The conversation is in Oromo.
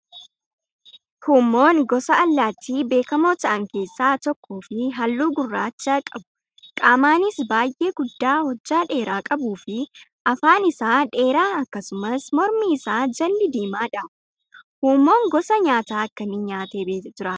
Huummoon gosa allaattii beekamoo ta'an keessaa tokkoo fi halluu gurraacha qabu qaamaanis baay'ee guddaa hojjaa dheeraa qabuu fi afaan isaa dheeraa akkasumas mormi isaa jalli diimaadha. Huummoon gosa nyaataa akkamii nyaatee jiraata?